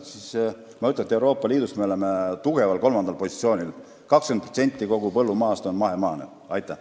Ma ütlen veel kord, et me oleme Euroopa Liidus tugeval kolmandal positsioonil – üle 20% kogu põllumaast on meil mahemaa.